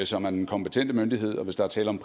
som er den kompetente myndighed og hvis der er tale om